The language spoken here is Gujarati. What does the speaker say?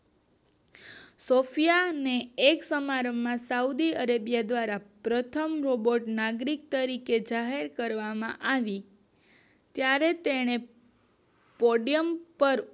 સૉફયા એ એક સમારંભ માં સોડીઅરેબીયા દ્વારા પ્રથમ રોબોટ નાગરિક તરીકે જાહેર કરવામાં આવી ત્યારે સ્ટેડિયમ પર